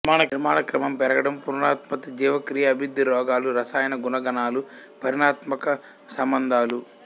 నిర్మాణక్రమం పెరగడం పునరుత్పత్తి జీవక్రియ అభివృద్ధి రోగాలు రసాయన గుణగణాలు పరిణామాత్మక సంబంధాలు